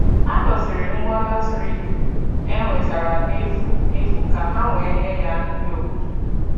Ha doziri ngwa latrik e wetara n'efu n'efu ka ha wee nye ya ndị obodo